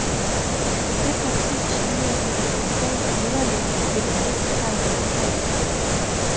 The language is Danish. Det parti styrer mod et fatalt nederlag ved det næste parlamentsvalg.